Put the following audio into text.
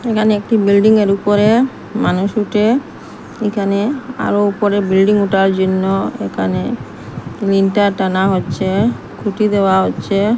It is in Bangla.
এখানে একটি বিল্ডিং -এর উপরে মানুষ উঠে এখানে আরও উপরে বিল্ডিং উঠার জন্য এখানে লিনটা টানা হচ্ছে খুঁটি দেওয়া হচ্ছে।